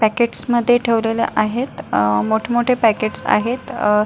packet मध्ये ठेवलेले आहेत अह मोठ मोठे पॅकेटस आहेत अ--